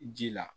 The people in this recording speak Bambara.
Ji la